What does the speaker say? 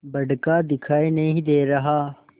बड़का दिखाई नहीं दे रहा